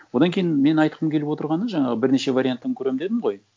одан кейін мен айтқым келіп отырғаны жаңағы бірнеше вариантын көремін дедім ғой